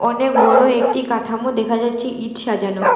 অনেক বড়ো একটি কাঠামো দেখা যাচ্ছে ইঁট সাজানো।